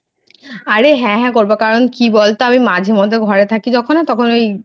আরে হ্যাঁ হ্যাঁ করবো করবো কারণ কি বলতো আমি মাঝে মধ্যে যখন আমি ঘরে থাকি তখন ওই